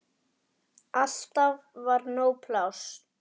Alltaf var nóg pláss.